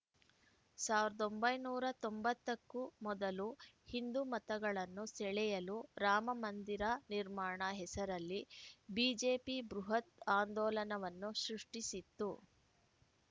ಸಾವಿರದ ಒಂಬೈನೂರ ತೊಂಬತ್ತಕ್ಕೂ ಮೊದಲು ಹಿಂದು ಮತಗಳನ್ನು ಸೆಳೆಯಲು ರಾಮಮಂದಿರ ನಿರ್ಮಾಣ ಹೆಸರಲ್ಲಿ ಬಿಜೆಪಿ ಬೃಹತ್‌ ಆಂದೋಲನವನ್ನು ಸೃಷ್ಟಿಸಿತ್ತು